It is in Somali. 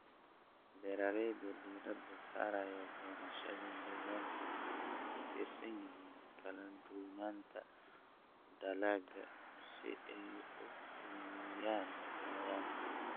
Beeralayda diiradda saaraya beerashada deegaanka waxay ku tiirsan yihiin kala duwanaanta dalagga si ay u yareeyaan cayayaanka.